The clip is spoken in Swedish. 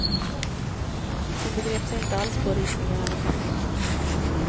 Hon begrep sig inte alls på ritningar eller kartor.